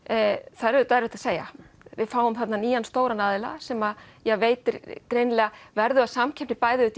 það er auðvitað erfitt að segja við fáum þarna inn nýja stóran aðila sem veitir greinilega verðuga samkeppni bæði